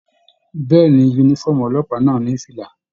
Bẹ̀ẹ́ni, yúnífọ̀ọ́mù ọlọ́pàá náà ní fìlà.